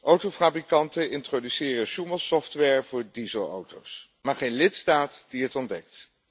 Autofabrikanten introduceren sjoemelsoftware voor dieselauto's, maar geen lidstaat die het ontdekt.